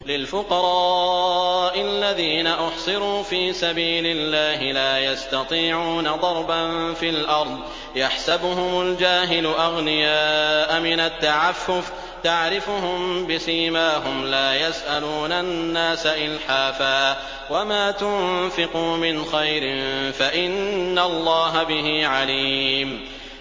لِلْفُقَرَاءِ الَّذِينَ أُحْصِرُوا فِي سَبِيلِ اللَّهِ لَا يَسْتَطِيعُونَ ضَرْبًا فِي الْأَرْضِ يَحْسَبُهُمُ الْجَاهِلُ أَغْنِيَاءَ مِنَ التَّعَفُّفِ تَعْرِفُهُم بِسِيمَاهُمْ لَا يَسْأَلُونَ النَّاسَ إِلْحَافًا ۗ وَمَا تُنفِقُوا مِنْ خَيْرٍ فَإِنَّ اللَّهَ بِهِ عَلِيمٌ